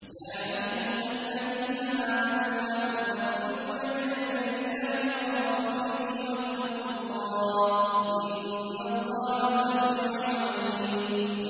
يَا أَيُّهَا الَّذِينَ آمَنُوا لَا تُقَدِّمُوا بَيْنَ يَدَيِ اللَّهِ وَرَسُولِهِ ۖ وَاتَّقُوا اللَّهَ ۚ إِنَّ اللَّهَ سَمِيعٌ عَلِيمٌ